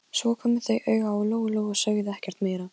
Amma hló og fór að punta sig.